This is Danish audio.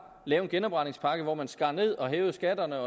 lave en genopretningspakke hvor man skar ned og hævede skatterne